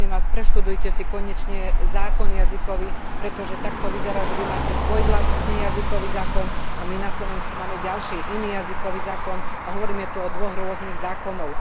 Prosím vás, preštudujte si konečne jazykový zákon, pretože to vyzerá tak, že vy máte svoj vlastný jazykový zákon a my na Slovensku máme ďalší, iný jazykový zákon a hovoríme tu o dvoch rôznych zákonoch.